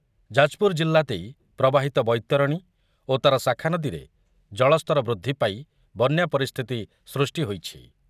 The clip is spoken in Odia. ଯାଜପୁରଜିଲ୍ଲା ଦେଇ ପ୍ରବାହିତବୈତରଣୀ ଓ ତାର ଶାଖା ନଦୀରେ ଜଳସ୍ତର ବୃଦ୍ଧି ପାଇ ବନ୍ୟା ପରିସ୍ଥିତି ସୃଷ୍ଟି ହୋଇଛି ।